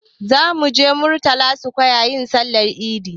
Za mu je murtala square yin Sallar idi